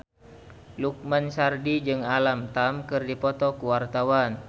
Lukman Sardi jeung Alam Tam keur dipoto ku wartawan